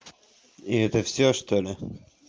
и это всё что ли